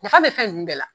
Nafa bɛ fɛn ninnu bɛɛ la